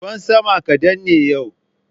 Ruwan sama kadan ne yau.